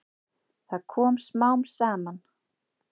Það kom smám saman.